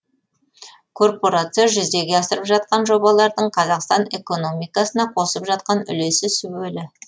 корпорация жүзеге асырып жатқан жобалардың қазақстан экономикасына қосып жатқан үлесі сүбелі